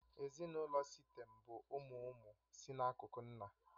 Ezinụlọ Sịtẹ̀m bụ ụmụ ụmụ si n'akụkụ nna